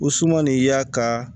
O suman nin y'a ka